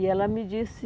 E ela me disse...